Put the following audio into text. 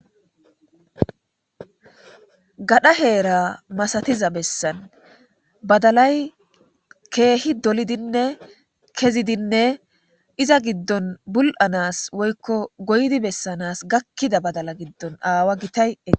Gadha heera masatiza bessan badalay keehi dolidinne kezidinne iza giddon bul7anas woykko goydi bessanas gakkida badala giddon aawa gitayei.